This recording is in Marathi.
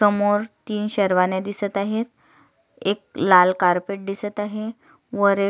समोर तीन शेरवाण्या दिसत आहेत एक लाल कारपेट दिसत आहे वर एक--